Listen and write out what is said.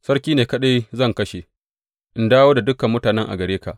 Sarki ne kaɗai zan kashe in dawo da dukan mutanen a gare ka.